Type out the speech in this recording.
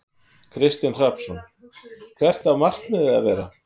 Kristinn Hrafnsson: Hvert á markmiðið að vera?